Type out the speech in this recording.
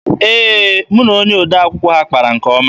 Ee, mụ na odee akwụkwọ ha kpara nke ọma.